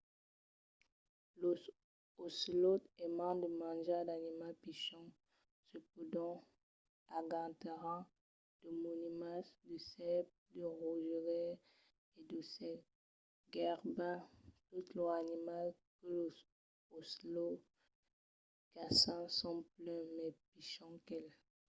los ocelòts aiman de manjar d'animals pichons. se pòdon agantaràn de moninas de sèrps de rosegaires e d'aucèls. gaireben totes los animals que los ocelòts caçan son plan mai pichons qu'el